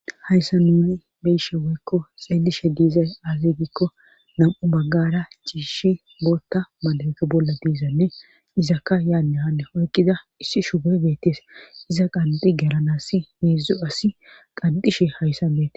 Hayssa nuni beyishe woykko xeellishe diizay azzegikko nam'u baggara ciishi bootta madaeke bolla diizanne izakka yaanne hane oykkida issi shube beettees iza qanxi galan asi heedzu asi qandishe hayssa beete.